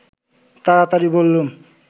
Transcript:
তাড়াতাড়ি বললুম